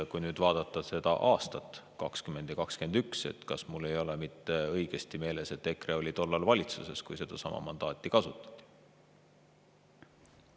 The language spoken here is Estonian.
Ja kui vaadata aastaid 2020 ja 2021, siis mul vist on õigesti meeles, et EKRE oli tollal valitsuses, kui sedasama mandaati kasutati.